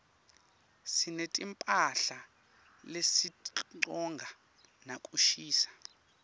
sinetimphahla lesitigcoka nakushisa